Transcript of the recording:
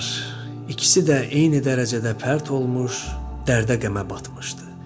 İkisi də eyni dərəcədə pərt olmuş, dərdə-qəmə batmışdı.